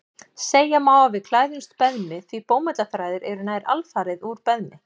Segja má að við klæðumst beðmi því bómullarþræðir eru nær alfarið úr beðmi.